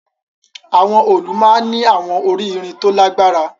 Awọn òòlù maa n ni awọn ori irin to lagbara